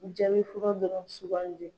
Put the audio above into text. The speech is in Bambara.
Jaabi furɔ dɔrɔn sugandi.